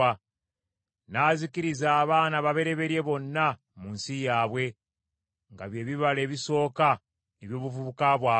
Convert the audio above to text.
N’azikiriza abaana ababereberye bonna mu nsi yaabwe, nga bye bibala ebisooka eby’obuvubuka bwabwe.